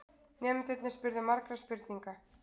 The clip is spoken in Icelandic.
Nemendurnir spurðu margra spurninga.